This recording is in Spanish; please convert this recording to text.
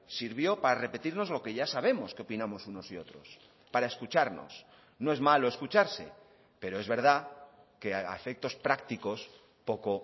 sirvió para repetirnos lo que ya sabemos que opinamos unos y otros para escucharnos no es malo escucharse pero es verdad que a efectos prácticos poco